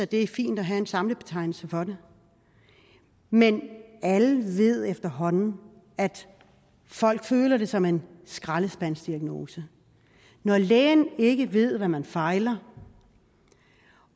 det er fint at have en samlebetegnelse for det men alle ved efterhånden at folk føler det som en skraldespandsdiagnose når lægen ikke ved hvad man fejler